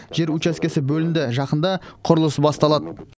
жер учаскесі бөлінді жақында құрылыс басталады